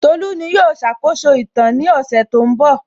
Tolú ní yóò ṣàkóso ìtàn ní ọ̀sẹ̀ tó ń bọ̀